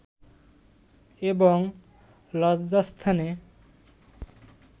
এবং লজ্জাস্থানে